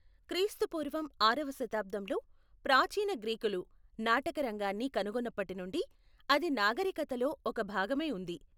క్రీ.పూ ఆరవ శతాబ్దంలో ప్రాచీన గ్రీకులు నాటకరంగాన్ని కనుగొన్నప్పటి నుండి అది నాగరీకతలో ఒక భాగమై ఉంది.